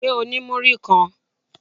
Ṣé o ní múrí kan?